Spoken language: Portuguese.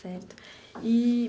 Certo eee.